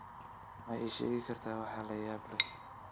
Ma ii sheegi kartaa waxa la yaab leh?